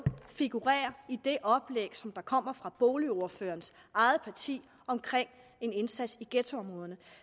figurerer i det oplæg som kommer fra boligordførerens eget parti om en indsats i ghettoområderne